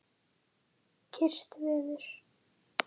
Kyrrt veður.